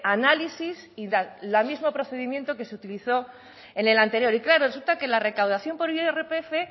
análisis y el mismo procedimiento que se utilizó en el anterior y claro resulta que la recaudación por el irpf